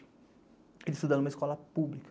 Ele estuda em uma escola pública.